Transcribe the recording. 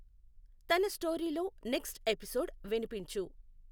తన స్టోరీ లో next episode వినిపించు.